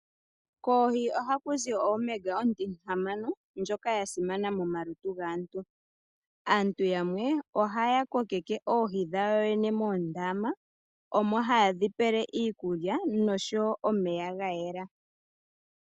Koohi ohaku zi oOmega ndjoka ontihamano ndjoka ya simana momalutu gaantu. Aantu yamwe ohaya kokeke oohi dhawo yoyene moondama, omo haye dhi pele iikulya nosho woo omeya ga yela.